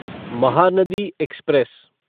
Mahanadi express